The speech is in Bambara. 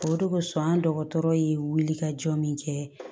O de kosɔn an dɔgɔtɔrɔ ye wulikajɔ min kɛ